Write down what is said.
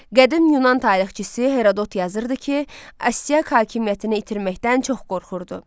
Qədim Yunan tarixçisi Herodot yazırdı ki, Astiaq hakimiyyətini itirməkdən çox qorxurdu.